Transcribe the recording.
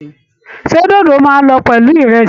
Ṣé dódó máa lọ pẹ̀lú ìrẹ̀sì?